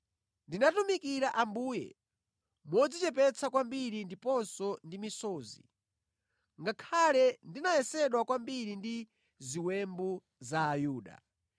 Ndinatumikira Ambuye modzichepetsa kwambiri ndiponso ndi misozi, ngakhale ndinayesedwa kwambiri ndi ziwembu za Ayuda.